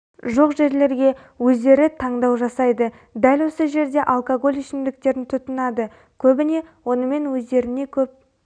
жоқ жерлерге өздері таңдау жасайды дәл осы жерде алкоголь ішімдіктерін тұтынады көбіне онымен өздеріне көп